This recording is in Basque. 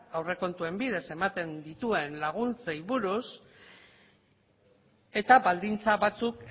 aurrekontuen bidez ematen dituen laguntzei buruz eta baldintza batzuk